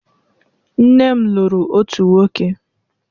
Nne m lụrụ otu nwoke.